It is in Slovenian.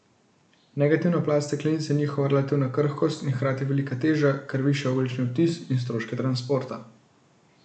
Negativna plat steklenic je njihova relativna krhkost in hkrati velika teža, kar viša ogljični odtis in stroške transporta.